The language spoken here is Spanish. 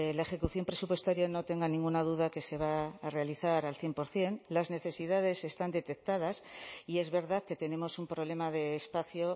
la ejecución presupuestaria no tenga ninguna duda que se va a realizar al cien por ciento las necesidades están detectadas y es verdad que tenemos un problema de espacio